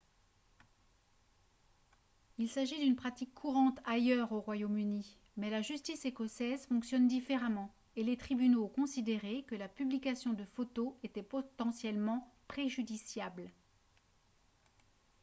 il s'agit d'une pratique courante ailleurs au royaume-uni mais la justice écossaise fonctionne différemment et les tribunaux ont considéré que la publication de photos était potentiellement préjudiciable